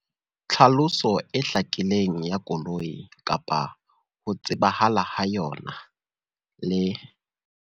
Tlhaloso e hlakileng ya koloi kapa ho tsebahala ha yona, le